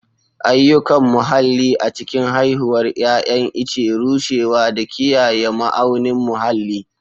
Ayyukan muhalli a cikin haihuwar 'ya'yan ice, rushewa, da kiyaye ma'aunin muhalli.